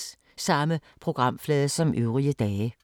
Samme programflade som øvrige dage